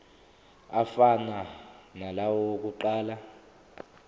afana nalawo awokuqala